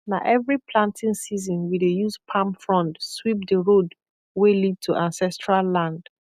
na every planting season we dey use palm frond sweep the road wey lead to ancestral land